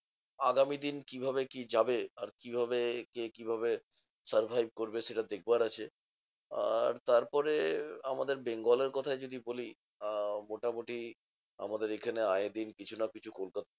আগামী দিন কিভাবে কি যাবে? আর কিভাবে কে কিভাবে survive করবে? সেটা দেখবার আছে। আর তারপরে আর আমাদের bengal এর কোথাই যদি বলি, আহ মোটামুটি আমাদের এখানে আয়ে দিন কিছু না কিছু